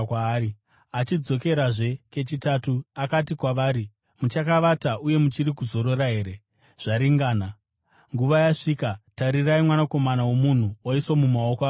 Achidzokerazve kechitatu akati kwavari, “Muchakavata uye muchiri kuzorora here? Zvaringana! Nguva yasvika. Tarirai, Mwanakomana woMunhu oiswa mumaoko avatadzi.